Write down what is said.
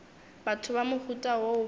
batho ba mohuta woo ba